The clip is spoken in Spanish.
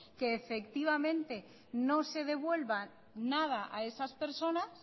que efectivamente no se devuelva nada a esas personas